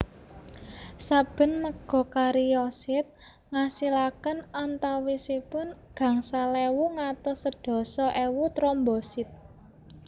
Saben megakariosit ngasilaken antawisipun gangsal ewu ngantos sedasa ewu trombosit